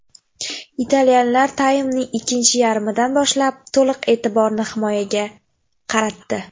Italyanlar taymning ikkinchi yarmidan boshlab to‘liq e’tiborni himoyaga qaratdi.